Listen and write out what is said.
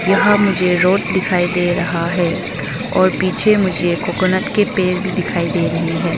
यहां मुझे रोड दिखाई दे रहा है और पीछे मुझे कोकोनट के पेड़ भी दिखाई दे रही है।